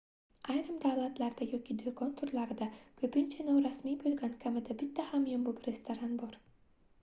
ayrim davlatlarda yoki doʻkon turlarida koʻpincha norasmiy boʻlgan kamida bitta hamyonbop restoran bor